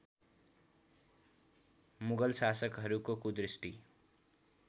मुगल शासकहरूको कुदृष्टि